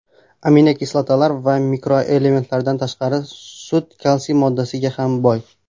Aminokislotalar va mikroelementlardan tashqari, sut kalsiy moddasiga ham boy.